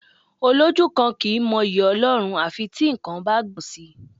Olójú kan kì í mọ yí Ọlọ́run à fi tí nǹkan bá gbọn sì.